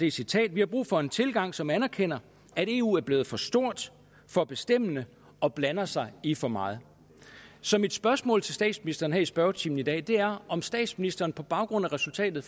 et citat vi har brug for en tilgang som anerkender at eu er blevet for stort for bestemmende og blander sig i for meget så mit spørgsmål til statsministeren her i spørgetimen i dag er om statsministeren på baggrund af resultatet